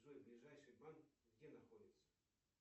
джой ближайший банк где находится